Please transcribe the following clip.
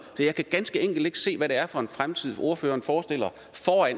så jeg kan ganske enkelt ikke se hvad det er for en fremtid ordføreren forestiller